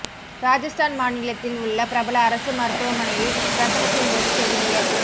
ராஜஸ்தான் மாநிலத்தில் உள்ள பிரபல அரசு மருத்துவமனையில் பிரசவத்தின் போது செவிலியர்